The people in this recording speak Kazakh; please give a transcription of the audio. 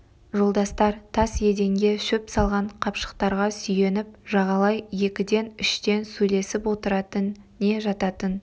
жолдастар тас еденде шөп салған қапшықтарға сүйеніп жағалай екіден-үштен сөйлесіп отыратын не жататын